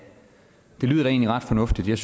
det lyder da egentlig ret fornuftigt jeg